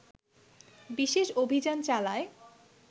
বিশেষ অভিযান চালায়